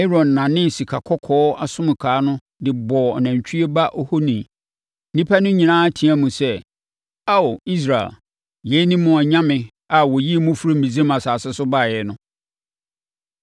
Aaron nanee sikakɔkɔɔ nsonkawa no de bɔɔ nantwie ba ohoni. Nnipa no nyinaa teaam sɛ, “Ao, Israel, yei ne mo anyame a ɔyii mo firii Misraim asase so baeɛ no.”